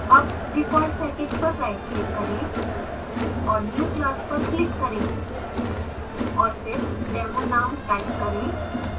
अब default package पर rightclick करें और new> class पर click करें और फिर demo name type करें